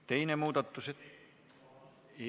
Teine muudatusettepanek.